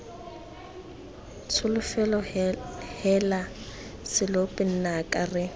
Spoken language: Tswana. tsholofelo heela lesope nnaka re